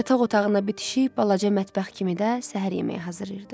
Yataq otağına bitişik balaca mətbəx kimi də səhər yeməyi hazırlayırdı.